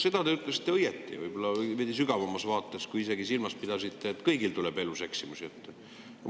Seda te ütlesite õigesti, võib-olla veidi sügavamas mõttes, kui te ise silmas pidasite, et kõigil tuleb elus ette eksimusi.